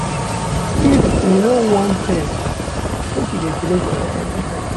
If you no wan faint, make you dey drink water everytime.